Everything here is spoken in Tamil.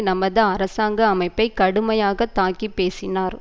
நமது அரசாங்க அமைப்பை கடுமையாக தாக்கி பேசினார்